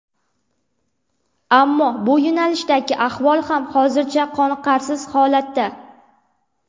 Ammo bu yo‘nalishdagi ahvol ham hozircha qoniqarsiz holatda.